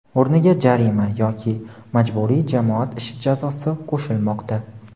o‘rniga jarima yoki majburiy jamoat ishi jazosi qo‘shilmoqda.